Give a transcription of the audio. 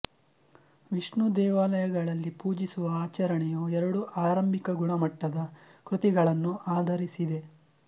ವಿಷ್ಣು ದೇವಾಲಯಗಳಲ್ಲಿ ಪೂಜಿಸುವ ಆಚರಣೆಯು ಎರಡು ಆರಂಭಿಕ ಗುಣಮಟ್ಟದ ಕೃತಿಗಳನ್ನು ಆಧರಿಸಿದೆ